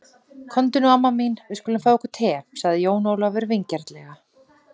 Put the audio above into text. Komdu nú amma mín, við skulum fá okkur te, sagði Jón Ólafur vingjarnlega.